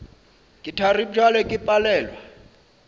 ke thari bjale ke palelwa